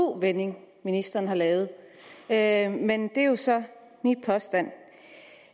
u vending ministeren har lavet lavet men det er jo så min påstand